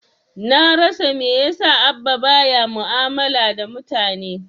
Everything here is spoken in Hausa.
Na rasa mai yasa Abba ba ya mu'amala da mutane.